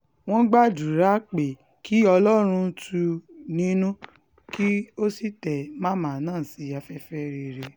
wọ́n gbàdúrà pé kí ọlọ́run tù ú nínú kó sì tẹ màmá náà sí afẹ́fẹ́ rere